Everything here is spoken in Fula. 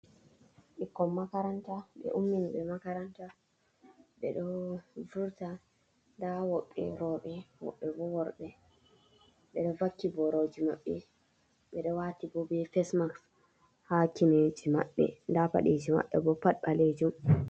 Ɓikkon makaranta, ɓe ummini ɓe makaranta, ɓe ɗo vurta. Nda woɓɓe rowɓe, woɓɓe bo worɓe. Ɓe ɗo vakki boroji maɓɓe, ɓe ɗo wati bo be fesmaks ha kineji maɓɓe, nda paɗeeji maɓɓe bo pat ɓaleejum.